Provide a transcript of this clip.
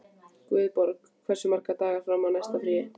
Guðborg, hversu margir dagar fram að næsta fríi?